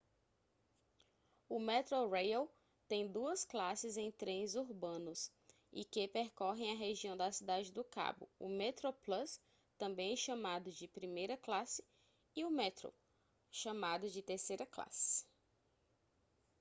o metrorail tem duas classes em trens urbanos e que percorrem a região da cidade do cabo: o metroplus também chamado de primeira classe e o metro chamado de terceira classe